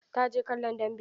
Ta je kallon dambe.